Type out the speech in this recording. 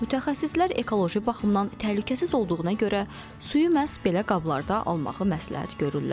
Mütəxəssislər ekoloji baxımdan təhlükəsiz olduğuna görə suyu məhz belə qablarda almağı məsləhət görürlər.